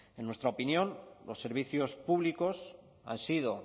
en nuestra opinión los servicios públicos han sido